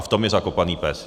A v tom je zakopaný pes!